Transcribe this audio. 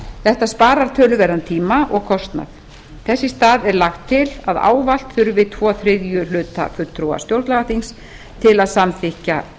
þetta sparar töluverðan tíma og kostnað þess í stað er lagt til að ávallt þurfi tvo þriðju hluta fulltrúa stjórnlagaþings til að samþykkja